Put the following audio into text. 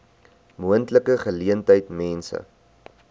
moontlike geleentheid mense